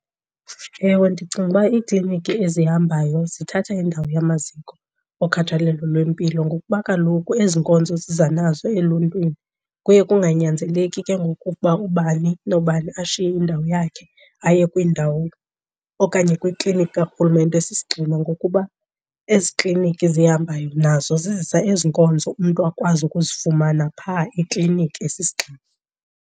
Ewe, ndicinga uba iikliniki ezihambayo zithatha indawo yamaziko okhathalelo lwempilo. Ngokuba kaloku ezi nkonzo ziza nazo eluntwini kuye kunganyanzeleki ke ngoku ukuba ubani nobani ashiye indawo yakhe aye kwindawo okanye kwikliniki karhulumente esisigxina ngokuba ezi kliniki zihambayo nazo zizisa ezi nkonzo umntu akwazi ukuzifumana phaa ekliniki esisigxina.